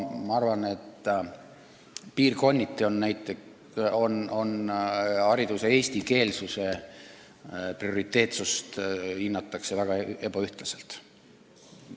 Ma arvan, et piirkonniti tunnistatakse hariduse eestikeelsuse prioriteetsust väga ebaühtlaselt.